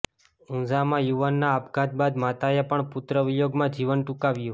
ઊંઝામાં યુવાનના આપઘાત બાદ માતાએ પણ પુત્રવિયોગમાં જીવન ટૂંકાવ્યું